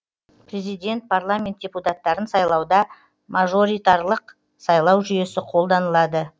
президент парламент депутаттарын сайлауда мажоритарлық сайлау жүйесі қолданылады